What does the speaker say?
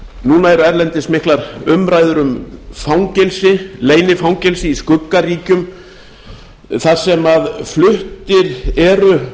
núna eru erlendis miklar umræður um fangelsi leynifangelsi í skuggaríkjum þar sem fluttir eru